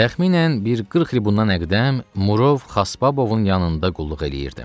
Təxminən bir 40 il bundan əqdəm Murov Xaspabovun yanında qulluq eləyirdi.